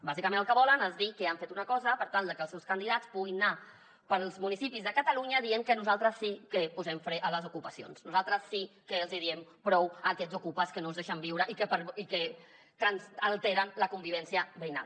bàsicament el que volen és dir que han fet una cosa per tal de que els seus candidats puguin anar pels municipis de catalunya dient que nosaltres sí que posem fre a les ocupacions nosaltres sí que els hi diem prou a aquests ocupes que no ens deixen viure i que ens alteren la convivència veïnal